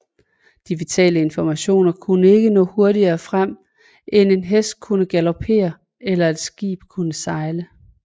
De vitale informationer kunne ikke nå hurtigere frem end en hest kunne galopere eller et skib kunne sejle